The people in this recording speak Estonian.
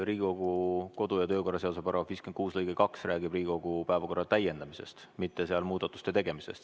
Riigikogu kodu- ja töökorra seaduse § 56 lõige 2 räägib Riigikogu päevakorra täiendamisest, mitte seal muudatuste tegemisest.